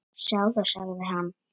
Sjáðu, sagði hann.